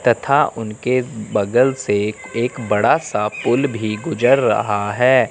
तथा उनके बगल से एक बड़ा सा पुल भी गुजर रहा है।